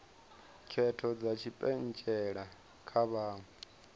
khetho dza tshipentshela kha vhaṅwe